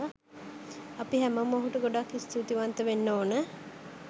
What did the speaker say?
අපි හැමෝම ඔහුට ගොඩාක් ස්තූතිවන්ත වෙන්න ඕනෙ.